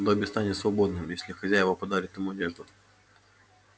добби станет свободным если хозяева подарят ему одежду